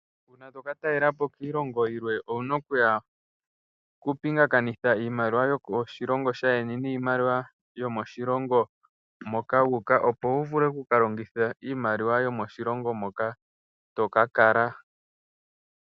Uuna toka talelapo kiilongo yilwe owuna oku pingakanitha iimaliwa yokoshilongo shaayeni niimaliwa yomoshilongo moka wuuka, opo wu vule oku ka longitha iimaliwa yomoshilongo moka toka kala.